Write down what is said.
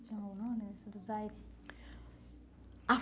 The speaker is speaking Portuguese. Tinha um nome, essa do Zayre? Ah